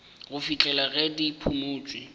go fihlela ge di phumotšwe